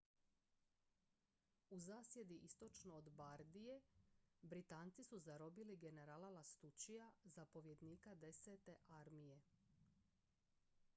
u zasjedi istočno od bardije britanci su zarobili generala lastuccija zapovjednika desete armije